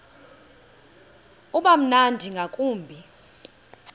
uba mnandi ngakumbi